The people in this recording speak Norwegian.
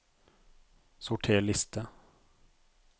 Sorter liste